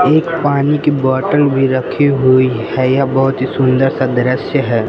एक पानी की बॉटल भी रखी हुई है यह बहोत ही सुंदर सा दृश्य है।